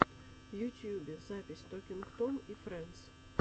в ютюбе запись токинг том и фрэндс